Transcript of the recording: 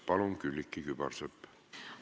Palun, Külliki Kübarsepp!